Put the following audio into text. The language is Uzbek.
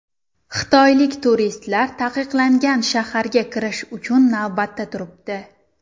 Xitoylik turistlar Taqiqlangan shaharga kirish uchun navbatda turibdi.